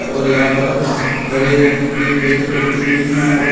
और यहां पर हरे रंग के पेड़ पौधे भी हैं और ये --